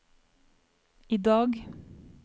idag